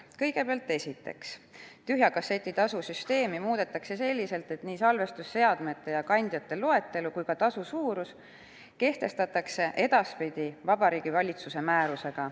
Kõigepealt, esiteks, tühja kasseti tasu süsteemi muudetakse selliselt, et nii salvestusseadmete ja kandjate loetelu kui ka tasu suurus kehtestatakse edaspidi Vabariigi Valitsuse määrusega.